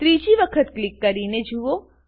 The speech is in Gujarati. ત્રીજી વખત ક્લિક કરીને જુઓ